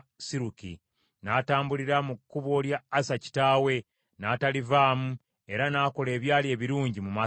N’atambulira mu kkubo lya Asa kitaawe, n’atalivaamu, era n’akola ebyali ebirungi mu maaso ga Mukama .